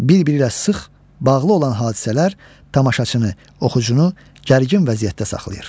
Bir-biri ilə sıx bağlı olan hadisələr tamaşaçını, oxucunu gərgin vəziyyətdə saxlayır.